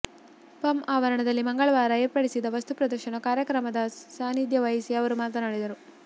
ಪಂ ಆವರಣದಲ್ಲಿ ಮಂಗಳವಾರ ಏರ್ಪಡಿಸಿದ ವಸ್ತುಪ್ರದರ್ಶನ ಕಾರ್ಯಕ್ರಮದ ಸಾನಿಧ್ಯ ವಹಿಸಿ ಅವರು ಮಾತನಾಡಿದರು